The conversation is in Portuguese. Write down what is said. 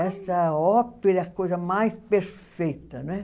Essa ópera é a coisa mais perfeita, né?